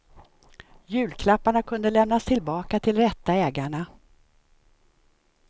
Julklapparna kunde lämnas tillbaka till rätta ägarna.